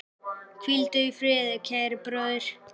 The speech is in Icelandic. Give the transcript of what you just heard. Hvíldu í friði, kæri bróðir.